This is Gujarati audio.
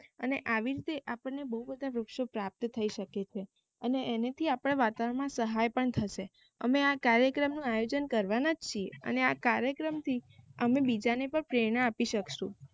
અને આવી રીતે આપણને બોવ બધા વૃક્ષો પ્રાપ્ત થઇ શકે છે અને એનાથી આપના વાતાવર્ણ માં સહાય પણ થશે અમે આ કાર્યક્રમ આયોજન કરવાના જ છીએ અને આ કાર્યક્રમ થી બીજા ને પણ પ્રેરણા આપી સકશું